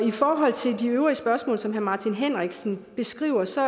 i forhold til de øvrige spørgsmål som herre martin henriksen stiller så